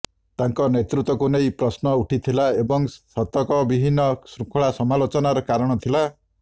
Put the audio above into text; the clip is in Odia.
ତାଙ୍କ ନେତୃତ୍ୱକୁ ନେଇ ପ୍ରଶ୍ନ ଉଠିଥିଲା ଏବଂ ଶତକବିହୀନ ଶୃଙ୍ଖଳା ସମାଲୋଚନାର କାରଣ ଥିଲା